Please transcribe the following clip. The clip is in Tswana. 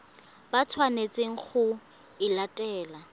ba tshwanetseng go e latela